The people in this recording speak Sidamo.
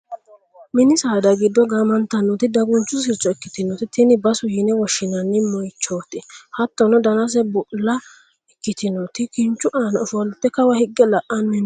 mini saada giddo gaamantannoti dagunchu sircho ikkitinoti tini basu yine woshshinanni moyiichooti. hattono danase bulla ikkitinoti kinchu aana ofolte kawa higge la'anni no.